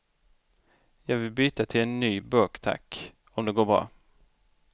Jag vill byta till en ny burk tack, om det går bra.